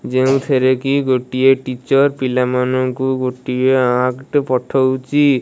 ଯେଉଁଥିରେ କି ଗୋଟିଏ ଟିଚର ପିଲା ମାନଙ୍କୁ ଗୋଟିଏ ଆର୍ଟ ଟେ ପଠଉଚି ।